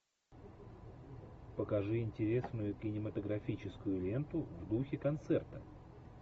покажи интересную кинематографическую ленту в духе концерта